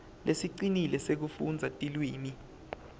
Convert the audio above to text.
lesicinile sekufundza tilwimi